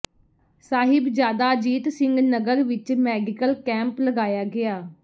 ਸਾਹਿਬਜਾਦਾ ਅਜੀਤ ਸਿੰਘ ਨਗਰ ਵਿੱਚ medical camp ਲਗਾਇਆ ਗਿਆ